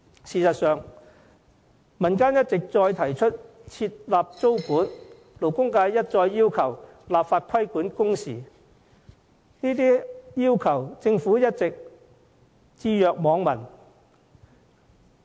事實上，民間一再提出設立租管，勞工界一再要求立法規管工時，政府對這些訴求卻一直置若罔聞。